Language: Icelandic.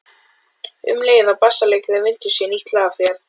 Um leið og bassaleikarinn vindur sér í nýtt lag fer